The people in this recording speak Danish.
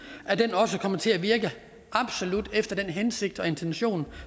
også kommer til at virke absolut efter hensigten da intentionen